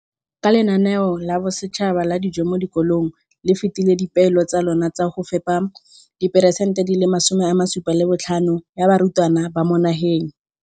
Ka NSNP le fetile dipeelo tsa lona tsa go fepa masome a supa le botlhano a diperesente ya barutwana ba mo nageng.